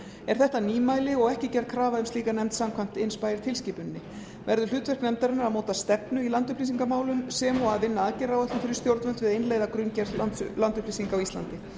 er þetta nýmæli og ekki gerð krafa um slíka nefnd samkvæmt imspayer tilskipuninni verður hlutverk nefndarinnar að móta stefnu í landupplýsingamálum sem og að vinna aðgerðaráætlun fyrir stjórnvöld við að innleiða grunngerð landupplýsinga á íslandi